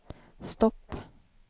stopp